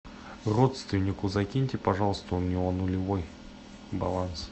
родственнику закиньте пожалуйста у него нулевой баланс